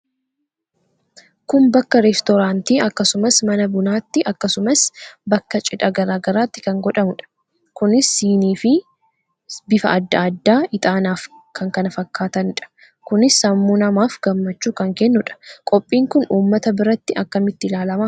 Kun bakka reestooraantii akkasumas mana bunatti akkasumas bakka cidhaa garagaratti kan godhamudha. Kunis sinii bifa adda adda ixaanaaf kkf dha Kunis sammuu namaaf gammachuu kan kennuudha. Qophiin kun ummata biratti akkamitti ilaalama?